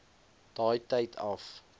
daai tyd af